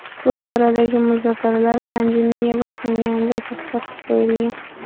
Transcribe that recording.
Bu boradagi muzokaralar pandemiya boshlanganida to‘xtatib qo‘yilgan.